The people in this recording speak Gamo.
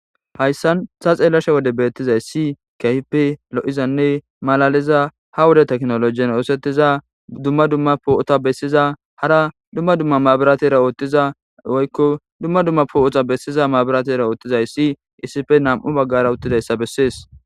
Hayssa woden be7ashe dizayssi keehippe lo7izanne malaaliza ha wode tekinoloojen oosettiza dumma dumma poo7ota beessiza hara dumma dumma maburaatera oothiza ysa izsippe nam7u baggara uttdayssa bessees.